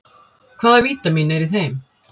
Hvaða vítamín eru í þeim?